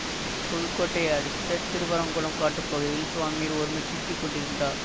புதுக்கோட்டையை அடுத்த திருவரங்குளம் காட்டுப் பகுதியில் சுவாமிகள் ஒருமுறை சுற்றி கொண்டிருந்தார்